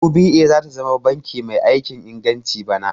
UBA zata zama banki mai aikin inganci bana